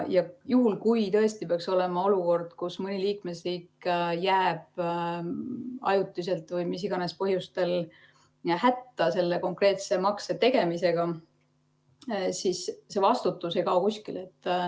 Juhul kui tõesti peaks olema olukord, kus mõni liikmesriik jääb ajutiselt või mis iganes põhjustel hätta konkreetse makse tegemisega, siis see vastutus ei kao kuskile.